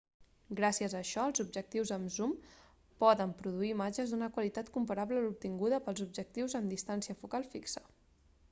gràcies a això els objectius amb zoom poden produir imatges d'una qualitat comparable a l'obtinguda pels objectius amb distància focal fixa